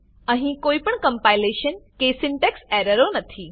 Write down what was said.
અહીં કોઈપણ કમ્પાઈલેશન કે સિન્ટેક્સ એરરો નથી